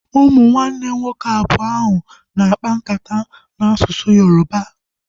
Ụmụnne nwoke abụọ ahụ nọ na akpa nkata n'asụsụ Yoroba